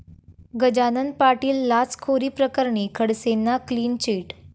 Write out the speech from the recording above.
गजानन पाटील लाचखोरीप्रकरणी खडसेंना clean chit